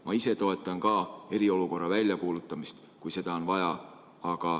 Ma ise toetan ka eriolukorra väljakuulutamist, kui seda on vaja.